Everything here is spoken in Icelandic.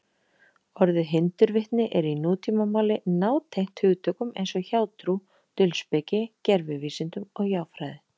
Orðið hindurvitni er í nútímamáli nátengt hugtökum eins og hjátrú, dulspeki, gervivísindum og hjáfræði.